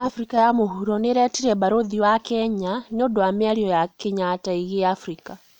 Afrika ya mũhuro nĩirĩtire mbarũthi wa Kenya nĩũndũ wa mĩario ya Kenyatta ĩgĩe Afrika